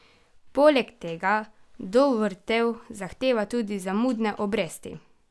Poleg tega Dovrtel zahteva tudi zamudne obresti.